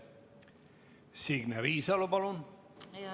Signe Riisalo, palun!